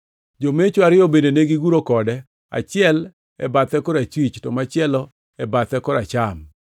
Jomecho ariyo bende negiguro kode, achiel e bathe korachwich to machielo e bathe koracham.